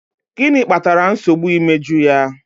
Gịnị kpatara nsogbu imeju ya?